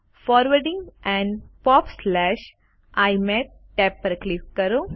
forwarding and popઆઇમેપ tab પર click કરો